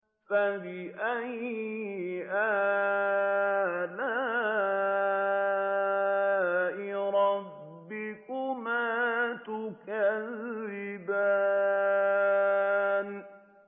فَبِأَيِّ آلَاءِ رَبِّكُمَا تُكَذِّبَانِ